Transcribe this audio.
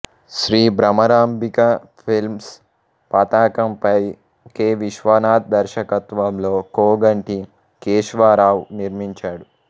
Shri Bhramarambika films పతాకంపై K Viswanath దర్శకత్వంలో కోగంటి కేశ్వరావు నిర్మించాడు